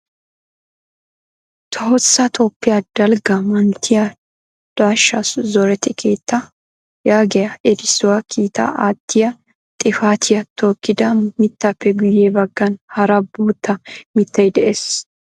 " Tohossa Toophiya dalgga manttiyaa daashsha zoretti keettaa " yaagiyaa erissuwaa kiitaa aattiyaa xifatiyaa tookkida mittappe guyye baggan hara bootta mittay de'ees.